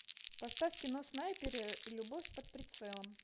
поставь кино снайперы любовь под прицелом